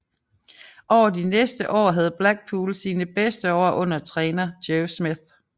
Over de næste år havde Blackpool sine bedste år under træner Joe Smith